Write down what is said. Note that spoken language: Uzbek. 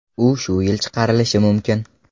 U shu yil chiqarilishi mumkin.